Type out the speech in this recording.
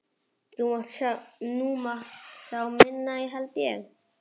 Það má nú sjá minna held ég!